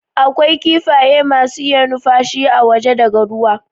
A kwai kifaye masu iya nufashi a waje daga ruwa